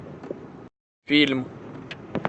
фильм